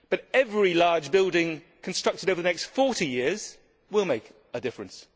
But every large building constructed over the next 40 years will make a difference.